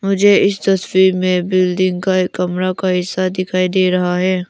मुझे इस तस्वीर में बिल्डिंग का एक कमरा का हिस्सा दिखाई दे रहा है।